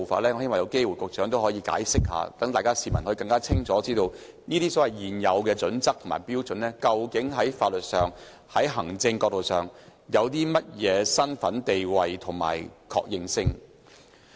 我希望局長可以作出解釋，讓市民更清楚知道《規劃標準》究竟在法律、行政角度上的地位及認受性。